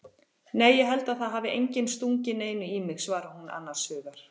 Nei ég held að það hafi enginn stungið neinu í mig, svarar hún annars hugar.